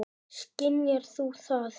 Skynjar þú það?